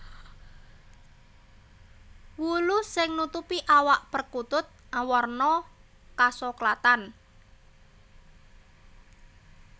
Wulu sing nutupi awak perkutut awarna kasoklatan